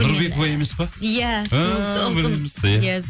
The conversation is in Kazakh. нұрбекова емес па иә ыыы